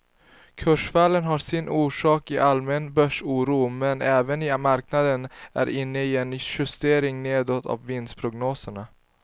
Kursfallen har sin orsak i allmän börsoro men även i att marknaden är inne i en justering nedåt av vinstprognoserna.